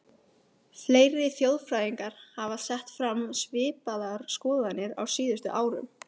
Fleiri þjóðfræðingar hafa sett fram svipaðar skoðanir á síðustu árum.